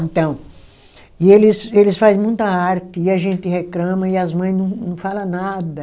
Então, e eles eles faz muita arte e a gente reclama e as mãe não não fala nada.